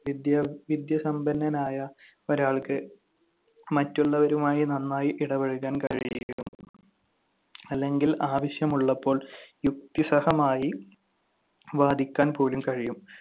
വിദ്യാ~ വിദ്യസമ്പന്നനായ ഒരാൾക്ക് മറ്റുള്ളവരുമായി നന്നായി ഇടപഴകാൻ കഴിയും. അല്ലെങ്കിൽ ആവശ്യമുള്ളപ്പോൾ യുക്തിസഹമായി വാദിക്കാൻ പോലും കഴിയും.